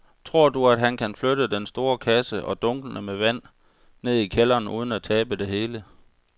Tror du, at han kan flytte den store kasse og dunkene med vand ned i kælderen uden at tabe det hele?